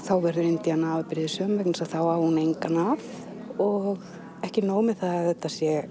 þá verður Indíana afbrýðissöm því þá á hún engan að og ekki nóg með það að þetta sé